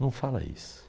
Não fala isso.